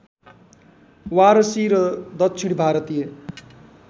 वारसी र दक्षिण भारतीय